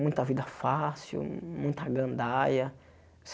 Muita vida fácil, muita gandaia.